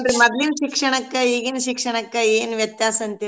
ಏನ್ರೀ ಮೊದ್ಲಿನ್ ಶಿಕ್ಷಣಕ್ಕ ಈಗಿನ್ ಶಿಕ್ಷಣಕ್ಕ ಏನ್ ವ್ಯತ್ಯಾಸ್ ಅಂತಿರೀ ನೀವೂ?